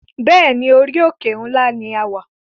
Bẹ́ẹ̀ni, orí òkè ńlá ní a wà